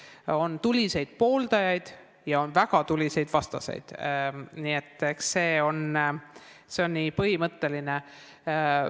Sellel on tuliseid pooldajaid ja on väga tuliseid vastaseid, nii et eks see ole põhimõtteline asi.